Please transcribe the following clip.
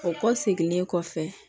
O kɔ seginlen kɔfɛ